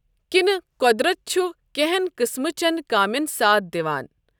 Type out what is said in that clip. کِنہٕ قۄدرَت چُھ کینٛہَن قٕسمہٕ چٮ۪ن کامٮ۪ن ساتھ دِوان؟